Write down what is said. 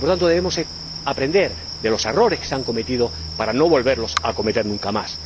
Por lo tanto, debemos aprender de los errores que se han cometido para no volver a cometerlos nunca más.